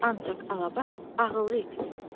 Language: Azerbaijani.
Ancaq Alabaş ağıllı it idi.